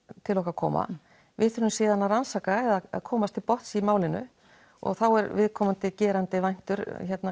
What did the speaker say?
til okkar koma við þurfum síðan að rannsaka eða komast til botns í málinu og þá er viðkomandi gerandi meintur